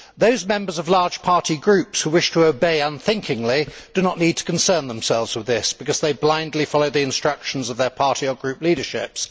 Those members of large party groups who wish to obey unthinkingly do not need to concern themselves with this, because they blindly follow the instructions of their party or group leaderships.